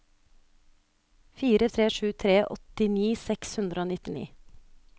fire tre sju tre åttini seks hundre og nittini